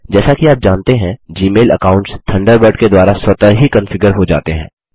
जैसा कि आप जानते हैं जी मेल अकाउंट्स थंडरबर्ड के द्वारा स्वतः ही कन्फिगर हो जाते हैं